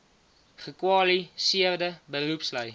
gekwali seerde beroepslui